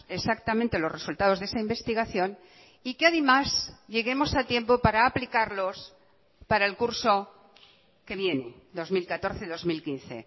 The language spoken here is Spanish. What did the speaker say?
exactamente los resultados de esa investigación y que además lleguemos a tiempo para aplicarlos para el curso que viene dos mil catorce dos mil quince